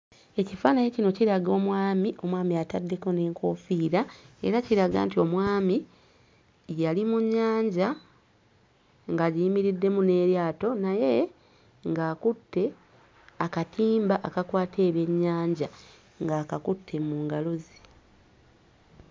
Ekifaananyi kino kiraga omwami, omwami ataddeko n'enkoofiira era kiraga nti omwami yali mu nnyanja ng'agiyimiriddemu n'eryato naye ng'akutte akatimba akakwata ebyennyanja ng'akakutte mu ngalo ze.